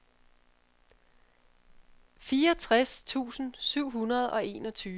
fireogtres tusind syv hundrede og enogtyve